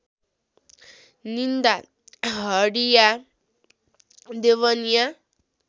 निन्दा हडिया देवनिया